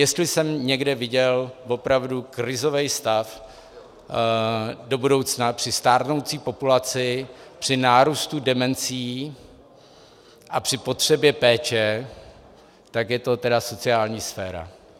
Jestli jsem někde viděl opravdu krizový stav do budoucna při stárnoucí populaci, při nárůstu demencí a při potřebě péče, tak je to tedy sociální sféra.